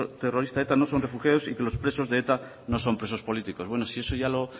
terrorista eta no son refugiados y que los presos de eta no son presos políticos bueno si eso ya lo